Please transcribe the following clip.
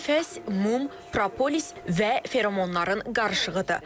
Hər nəfəs mum, propolis və feromonların qarışığıdır.